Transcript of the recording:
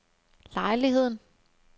lejligheden